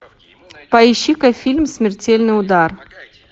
поищи ка фильм смертельный удар